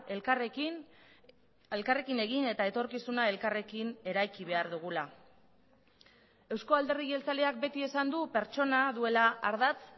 elkarrekin elkarrekin egin eta etorkizuna elkarrekin eraiki behar dugula eusko alderdi jeltzaleak beti esan du pertsona duela ardatz